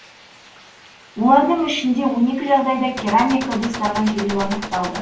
олардың ішінде он екі жағдайда керамика ыдыстарға жерлеу анықталды